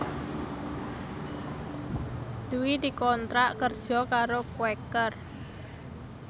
Dwi dikontrak kerja karo Quaker